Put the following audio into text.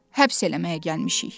həbs eləməyə gəlmişik.